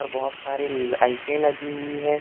बहोत सारी लाइटे लगी हुई है।